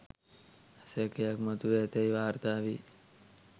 සැකයක් මතුව ඇතැයි වාර්තා වේ